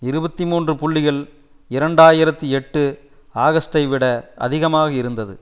இருபத்தி மூன்று புள்ளிகள் இரண்டு ஆயிரத்தி எட்டு ஆகஸ்ட்டை விட அதிகமாக இருந்தது